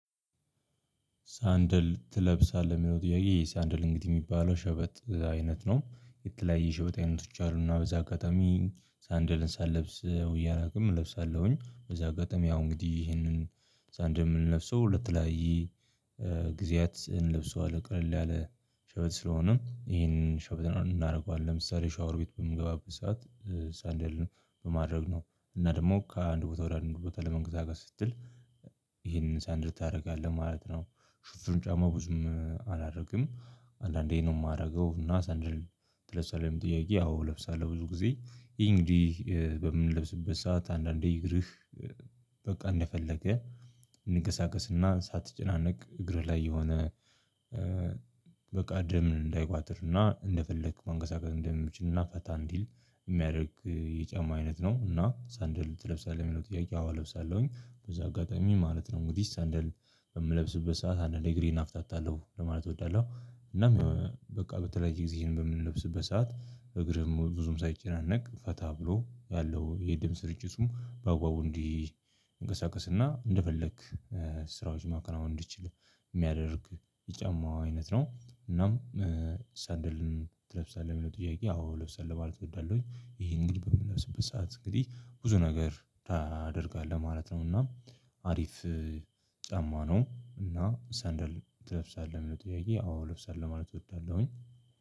ሳንደል ትለብሳለህ የሚለው ጥያቄ ሳንደል እንግዲህ የሚባለው ሸበጥ አይነት ነው የተለያየ ሸበጥ አይነቶች አሉና በዛ አጋጣሚ ሳንደልን ሳልለብስ ውየ አላውቅም እለብሳለሁኝ በዚህ አጋጣሚ ያው እንግዲህ ይሄንን ሳንድል የምንለብሰው ለተለያየ ጊዜያት እንልብሰዋለን ቀለል ያለ ሸበጥ ስለሆነም ይሄንን ሸበጥ እናደርገዋለን ለምሳሌ ሻወር ቤት በምገባበት ሰዓት ሳንዴል ነው በማድረግ ነው እና ደግሞ ከአንድ ቦታ ወደ አንድ ቦታ ለመንቀሳቀስ ጋር ስትል ሳንደል ታደርጋለህ ማለት ነው። ሽፍኑን ጫማ ብዙም አላረገም አንዳንዴ ነው የማደርገው እና ሰንደል ትለብሳለህ ውይ ጥያቄ ያው ለብሳለሁ ብዙ ጊዜ እንግዲህ በምንለብስበት ሰዓት አንዳንዴ ይግርህ በቃ እንደፈለገ እንገሳገስና ሳትጨናነቅ እግር ላይ የሆነ በቃ ደም እንዳይቋጥርና እንደፈለክ መንቀሳቀስ እንደምችልና ፈታ እንዲል የሚያደርግ የጫማ አይነት ነው እና ሳንድል ትለብሳለህ የሚለው ጥያቄ አዋ እለብሳለሁኝ በዛ አጋጣሚ ማለት ነው። እንግዲህ ሳንደል በምለብስበት ሰዓት አንድ እግሬን አፍታታለሁ ለማለት እወዳለሁ እናም በቃ በተለይ ጊዜ ይሄን በምን ልብስ በሰአት እግርህም ብዙም ሳይጨናነቅ ፈታ ብሎ ያለው የደም ርጭቱም በአግባቡ እንዲህ እንቀሳቀስና እንደፈለክ ስራዎች ማከናወን እንድችል የሚያደርግ የጫማ አይነት ነው። እናም ሳንደልን ትለብሳለህ የሚለው ጥያቄ አዎ ለብሳለሁ ማለት እወዳለሁኝ። ይሄን ግን በምለብስበት ሰዓት እንግዲህ ብዙ ነገር ታደርጋለህ ማለት ነው እና አሪፍ ጫማ ነው እና ሰንደል ትለብሳለህ ለሚለው ጥያቄ አወ ማለት እወዳለሁኝ።